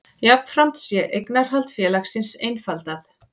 Jafnframt sé eignarhald félagsins einfaldað